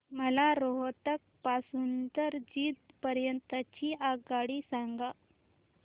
मला रोहतक पासून तर जिंद पर्यंत ची आगगाडी सांगा